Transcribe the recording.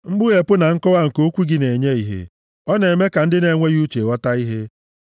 Mkpughepụ na nkọwa nke okwu gị na-enye ìhè; ọ na-eme ka ndị na-enweghị uche ghọta ihe.